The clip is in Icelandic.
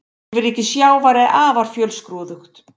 Lífríki sjávar er afar fjölskrúðugt.